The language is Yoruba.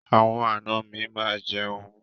Àwọn àna mi máa jẹun.